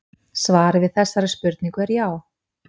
Svarið við þessari spurningu er já.